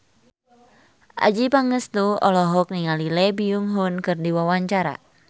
Adjie Pangestu olohok ningali Lee Byung Hun keur diwawancara